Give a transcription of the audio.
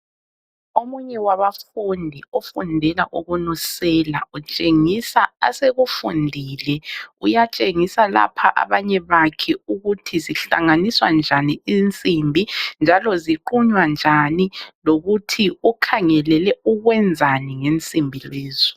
Omunye wabafundi ofundela ukunusela , utshengisa asekufundile uyatshengisa lapha abanye bakhe ukuthi zihlanganiswa njani insimbi njalo ziqunywa njani lokuthi ukhangelele ukwenzani ngensimbi lezo